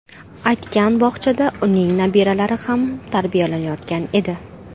aytgan bog‘chada uning nabiralari ham tarbiyalanayotgan edi.